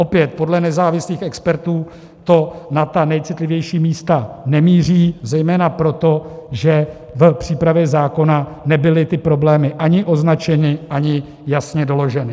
Opět, podle nezávislých expertů to na ta nejcitlivější místa nemíří zejména proto, že v přípravě zákona nebyly ty problémy ani označeny, ani jasně doloženy.